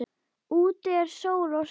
Úti er sól og sumar.